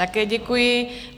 Také děkuji.